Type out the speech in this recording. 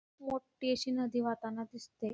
मोठी अशी नदी वाहताना दिसते